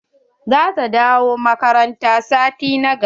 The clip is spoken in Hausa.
Za ta dawo makaranta sati na gaba.